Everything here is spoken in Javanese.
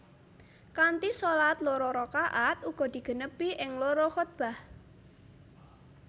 Kanthi shalat loro rakaat uga digenepi ing loro khuthbah